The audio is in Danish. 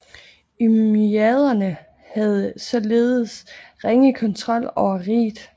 Umayyaderne havde således ringe kontrol over riget